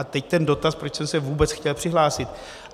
A teď ten dotaz, proč jsem se vůbec chtěl přihlásit.